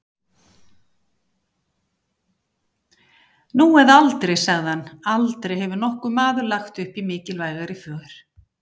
Nú eða aldrei, sagði hann, aldrei hefur nokkur maður lagt upp í mikilvægari för.